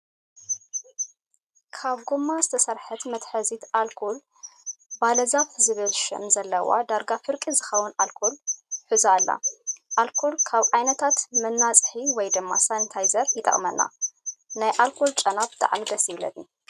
ካብ ጎማ ዝተሰርሐ መትሓዚ ኣርኮል ባለዛፍ ዝብል ሽም ዘለዋ ዳርጋ ፍርቂ ዝከውን ኣርኮል ሑዛ ኣላ። ኣልኮል ካብ ዓይነታት መናፅሂ ወይ ድማ ሳንታዘር ይጠቅመና። ናይ ኣልኮል ጨና ብጣዕሚ ደስ ይብለኒ።